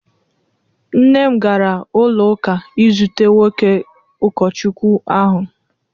Nne m gara ụlọ ụka izute nwoke ụkọchukwu ahụ